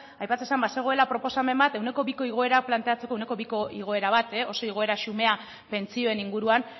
aipatzen zen bazegoela proposamen bat ehuneko biko igoera planteatzeko ehuneko biko igoera bat oso igoera xumea pentsioen inguruan